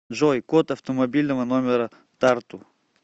джой код автомобильного номера тарту